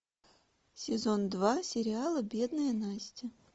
сезон два сериала бедная настя